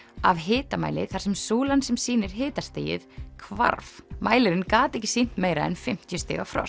af hitamæli þar sem súlan sem sýnir hitastigið hvarf mælirinn gat ekki sýnt meira en fimmtíu stiga frost